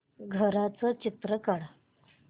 घराचं चित्र काढ